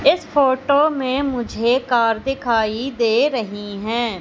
इस फोटो में मुझे कार दिखाई दे रही हैं।